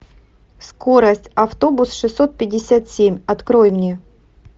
скорость автобус шестьсот пятьдесят семь открой мне